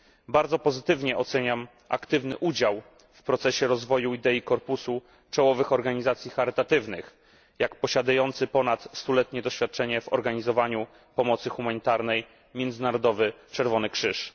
Bardzo pozytywnie oceniam aktywny udział w procesie rozwoju idei korpusu czołowych organizacji charytatywnych, jak posiadający ponad stuletnie doświadczenie w organizowaniu pomocy humanitarnej Międzynarodowy Czerwony Krzyż.